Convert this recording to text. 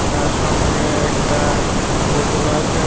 তার সঙ্গে একটা বোতলও আছে।